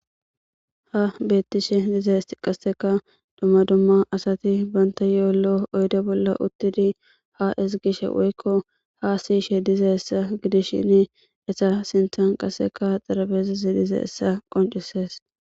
ha beettishe dizayis qasseka dumma dumma asati banta yoollo oyde bolla uttidi ha isgishe woykko ha siishe diza essa gidishshin esa sinthan qaseka xarabeezezi diza essa qoncisees